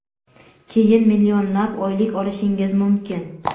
keyin millionlab oylik olishingiz mumkin.